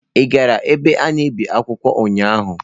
Ị gara ebe a na-ebi akwụkwọ ụnyaahụ?